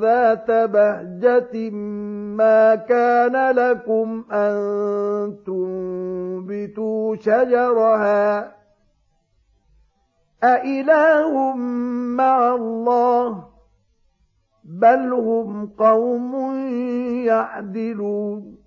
ذَاتَ بَهْجَةٍ مَّا كَانَ لَكُمْ أَن تُنبِتُوا شَجَرَهَا ۗ أَإِلَٰهٌ مَّعَ اللَّهِ ۚ بَلْ هُمْ قَوْمٌ يَعْدِلُونَ